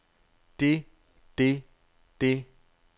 det det det